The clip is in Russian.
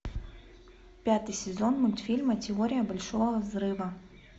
пятый сезон мультфильма теория большого взрыва